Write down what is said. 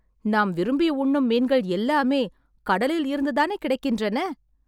நாம் விரும்பி உண்ணும் மீன்கள் எல்லாமே கடலில் இருந்து தானே கிடைக்கின்றன